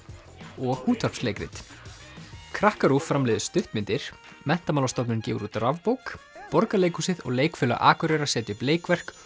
og útvarpsleikrit framleiðir stuttmyndir Menntamálastofnun gefur út rafbók Borgarleikhúsið og Leikfélag Akureyrar setja upp leikverk